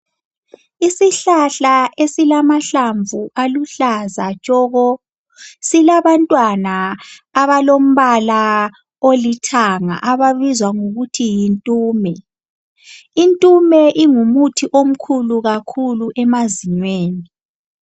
Isihlahla silamahlamvu aluhlaza tshoko silabantwana abalombala olithanga ababizwa ngokuthi yintume . Intume ingumuthi omkhulu kakhulu emazinyweni .